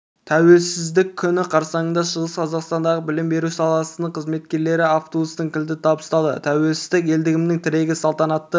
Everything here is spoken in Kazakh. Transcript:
тәуелсіздік күні қарсаңында шығыс қазақстандағы білім беру саласының қызметкерлеріне автобустың кілті табысталды тәуелсіздік елдігімнің тірегі салтанатты